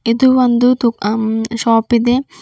ಇದು ಒಂದು ದುಹಮ್ ಶಾಪ್ ಇದೆ.